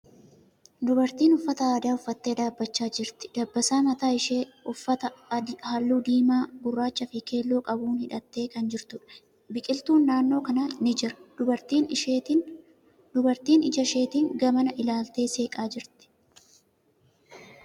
Dubartiin uffata aadaa uffattee dhaabbachaa jirti. Dabbasaa mataa ishee uffata haalluu diimaa, gurraacha fi keelloo qabuun hidhattee kan jirtuudha. Biqiltuun naannoo kana ni jira, Dubartiin ija isheetin gamana ilaaltee seeqaa jirti.